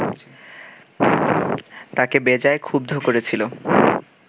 তাঁকে বেজায় ক্ষুব্ধ করেছিল